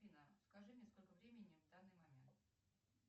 афина скажи мне сколько времени в данный момент